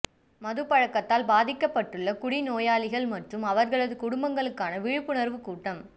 மது பழக்கத்தால் பாதிக்கப்பட்டுஉள்ள குடி நோயாளிகள் மற்றும் அவர்களது குடும்பங்களுக்கான விழிப்புணர்வு கூட்டம்